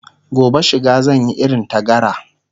gobe shiga zan Yi irin ta gara